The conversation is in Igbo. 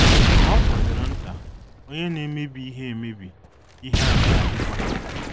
Ma ọ fọdụrụ nta, onye na - emebi ihe - emebi ihe aga adịkwa...